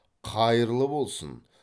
қайырлы болсын